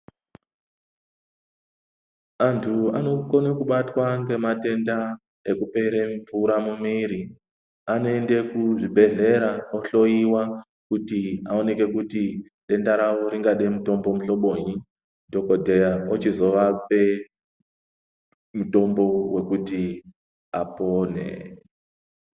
Antu anokona kubatwa ngematenda ekupere mvura mumiri anoende kuzvibhedhlera ohloiwa kuti aoneke kuti denda rawo ringade mutombo muhlobonyi. Dhogodheya ochizovape mutombo wekuti apone.